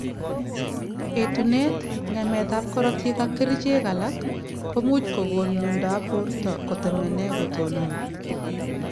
Etunet ,nge�met ab korotik ak kerchek alak komuch kogon myondo ab borto kutemene kotonon